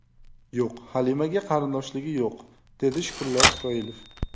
Yo‘q, Halimaga qarindoshligi yo‘q”, dedi Shukrullo Isroilov.